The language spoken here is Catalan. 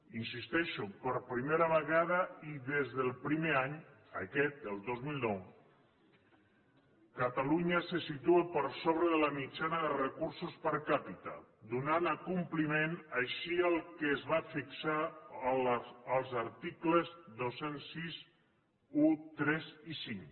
hi insisteixo per primera vegada i des del primer any aquest el dos mil nou catalunya se situa per sobre de la mitjana de recursos per capita donant compliment així al que es va fixar als articles dos mil seixanta u tres i cinc